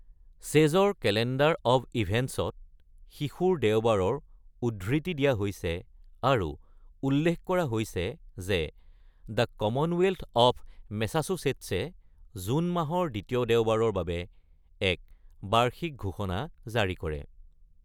চেজৰ calendar of ইভেণ্টছত শিশুৰ দেওবাৰৰ উদ্ধৃতি দিয়া হৈছে আৰু উল্লেখ কৰা হৈছে যে দ্য কমনৱেলথ অৱ মেছাচুচেটছে জুন মাহৰ দ্বিতীয় দেওবাৰৰ বাবে এক বাৰ্ষিক ঘোষণা জাৰি কৰে।